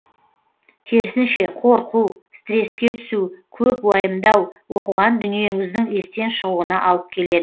керісінше қорқу стресске түсу көп уайымдау оқыған дүниеңіздің естен шығуына алып келеді